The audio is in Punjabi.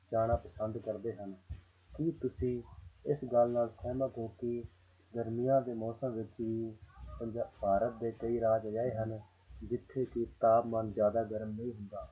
ਜਾਣਾ ਪਸੰਦ ਕਰਦੇ ਹਨ ਕੀ ਤੁਸੀਂ ਇਸ ਗੱਲ ਨਾਲ ਸਹਿਮਤ ਹੋ ਕਿ ਗਰਮੀਆਂ ਦੇ ਮੌਸਮ ਵਿੱਚ ਵੀ ਪੰਜਾ~ ਭਾਰਤ ਦੇ ਕਈ ਰਾਜ ਅਜਿਹੇ ਹਨ ਜਿੱਥੇ ਕਿ ਤਾਪਮਾਨ ਜ਼ਿਆਦਾ ਗਰਮ ਨਹੀਂ ਹੁੰਦਾ